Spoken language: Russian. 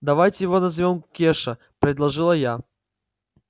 давайте его назовём кеша предложила я